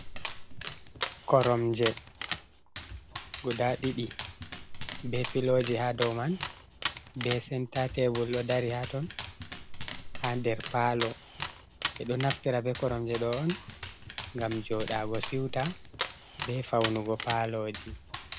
Koromje guda ɗiɗi be piloji ha dow man be senta tebul ɗo dari ha ton, ha nder palo, ɓe ɗo naftira be koromje ɗo on ngam joɗaago siuta be faunugo paaloji.